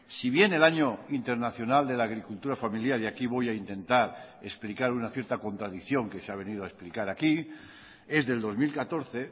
si bien el año internacional de la agricultura familiar y aquí voy a intentar explicar una cierta contradicción que se ha venido a explicar aquí es del dos mil catorce